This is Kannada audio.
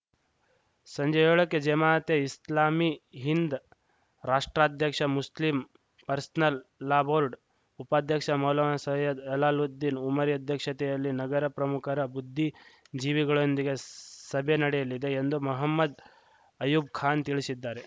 ಸಂಜೆ ಏಳಕ್ಕೆ ಜಮಾತೆ ಇಸ್ಲಾಮೀ ಹಿಂದ್‌ ರಾಷ್ಟ್ರಾಧ್ಯಕ್ಷ ಮುಸ್ಲಿಂ ಪರ್ಸನಲ್‌ ಲಾ ಬೋರ್ಡ್‌ ಉಪಾಧ್ಯಕ್ಷ ಮೌಲಾನ ಸಯ್ಯದ್‌ ಅಲಾಲುದ್ದೀನ್‌ ಉಮರಿ ಅಧ್ಯಕ್ಷತೆಯಲ್ಲಿ ನಗರ ಪ್ರಮುಖರ ಬುದ್ಧಿ ಜೀವಿಗಳೊಂದಿಗೆ ಸಭೆ ನಡೆಯಲಿದೆ ಎಂದು ಮಹಮ್ಮದ್‌ ಅಯ್ಯೂಬ್‌ಖಾನ್‌ ತಿಳಿಶಿದ್ದಾರೆ